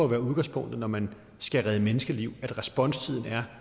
være udgangspunktet når man skal redde menneskeliv at responstiden er